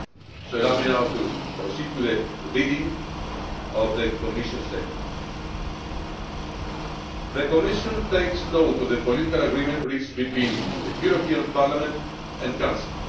So allow me now to proceed to the reading of the Commission statement The Commission takes note of the political agreement reached between the European Parliament and Council.